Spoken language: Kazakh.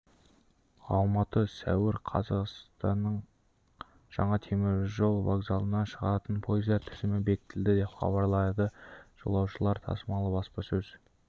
алматы сәуір қаз астананың жаңа теміржол вокзалынан шығатын пойыздар тізімі бекітілді деп хабарлады жолаушылар тасымалы баспасөз